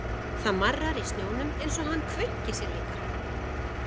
Það marrar í snjónum eins og hann kveinki sér líka.